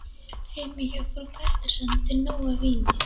Heima hjá frú Pettersson er til nóg af víni.